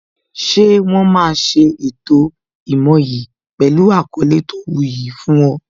Ṣé wọn máa ṣe ètò ìmoyì pẹlu àkọlé tó wu yi fún ọ